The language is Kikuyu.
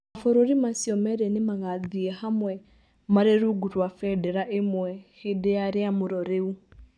Mavũrũri macio merĩ nĩ magaathiĩ vamwe marĩ rungu rwa vendera ĩmwe vĩndĩ ya rĩamũro rĩu.